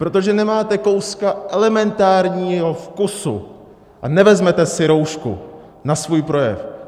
Protože nemáte kouska elementárního vkusu a nevezmete si roušku na svůj projev.